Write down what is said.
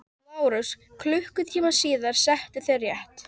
LÁRUS: Klukkutíma síðar settuð þér rétt.